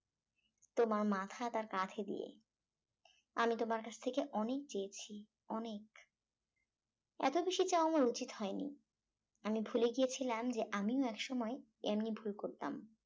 তোমার মাথা তার কাঁধে দিয়ে আমি তোমার কাছ থেকে অনেক চেয়েছি অনেক এত বেশি চাওয়া আমার উচিত হয় নি আমি ভুলে গিয়েছিলাম যে আমিও একসময় এমনই ভুল করতাম